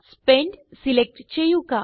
spent select ചെയ്യുക